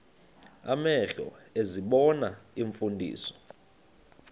amehlo ezibona iimfundiso